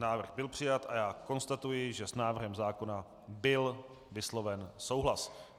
Návrh byl přijat a já konstatuji, že s návrhem zákona byl vysloven souhlas.